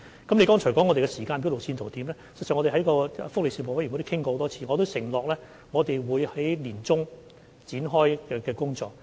議員剛才問我們的時間表和路線圖，事實上，我們在福利事務委員會會議上已多次討論，並承諾我們會在年中展開工作。